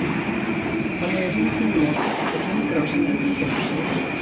þannig er hringnum lokað og hringrásin endurtekur sig